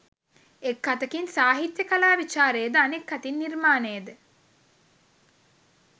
එක් අතකින් සාහිත්‍ය කලා විචාරය ද අනෙක් අතින් නිර්මාණය ද